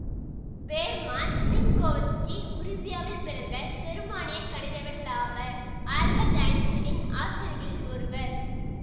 Hermon Minkowski உருசியாவில் பிறந்த செருமானியக் கணிதவிலாவர் ஆல்பர்ட் ஐன்ஸ்டைனின் ஆசிரியர்களில் ஒருவர்